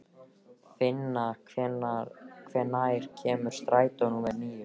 Finna, hvenær kemur strætó númer níu?